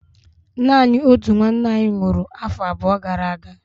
Naanị otu nwanna anyị nwụrụ afọ abụọ gara aga.